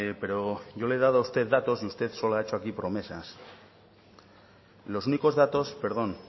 pero yo le he dado a usted datos y usted solo ha hecho aquí promesas los únicos datos perdón